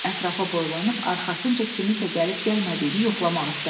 Ətrafa boylanıb, arxasınca kiminsə gəlib-gəlmədiyini yoxlamaq istədi.